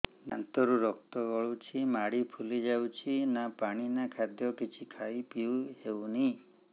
ଦାନ୍ତ ରୁ ରକ୍ତ ଗଳୁଛି ମାଢି ଫୁଲି ଯାଉଛି ନା ପାଣି ନା ଖାଦ୍ୟ କିଛି ଖାଇ ପିଇ ହେଉନି